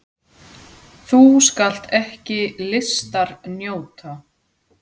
Þú skalt ekki listar njóta!